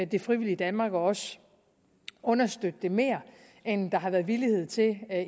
det frivillige danmark og også understøtte det mere end der har været villighed til